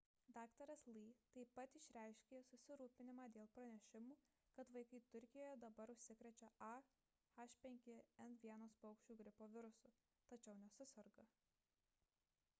dr. lee taip pat išreiškė susirūpinimą dėl pranešimų kad vaikai turkijoje dabar užsikrečia a h5n1 paukščių gripo virusu tačiau nesuserga